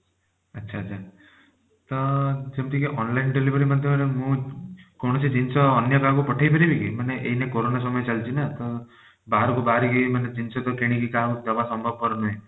ଆଚ୍ଛା ଆଚ୍ଛା ତ ସେମିତି କି online delivery ମଧ୍ୟ ମୁଁ କୌଣସି ଜିନିଷ ଅନ୍ୟ କାହାକୁ ପଠେଇପାରିବି କି ମାନେ ଏଇନା କରୋନା ସମୟ ଚାଲିଛି ନା ତ ବାହରକୁ ବାହାରିକି ମାନେ ଜିନିଷ ତକ କିଣିକି କାହାକୁ ଦବା ସମ୍ଭବପର ନୁହେଁ।